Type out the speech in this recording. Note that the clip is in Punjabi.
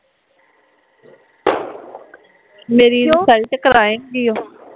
ਮੇਰੀ ਇਨਸਲਟ ਕਰਾਏ ਗੀ ਓ